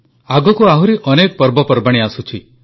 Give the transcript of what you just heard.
ଆଗକୁ ଆହୁରି ଅନେକ ପର୍ବପର୍ବାଣୀ ଆସୁଛି